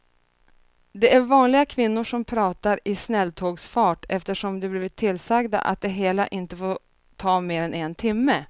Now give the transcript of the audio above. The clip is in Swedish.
Det är vanliga kvinnor som pratar i snälltågsfart eftersom de blivit tillsagda att det hela inte får ta mer än en timme.